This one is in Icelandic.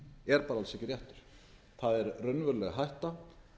er því bara alls ekki réttur það er raunveruleg hætta